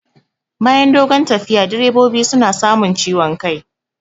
Bayan dogon tafiya direbobi suna samun ciwon kai